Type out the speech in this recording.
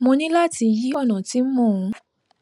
mo ní láti yí ònà tí mò ń